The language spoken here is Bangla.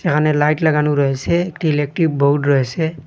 এখানে লাইট লাগানো রয়েসে একটি ইলেকট্রিক বোর্ড রয়েসে।